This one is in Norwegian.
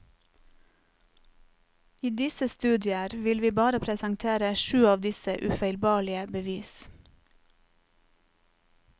I disse studier vil vi bare presentere sju av disse ufeilbarlige bevis.